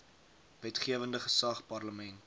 wetgewende gesag parlement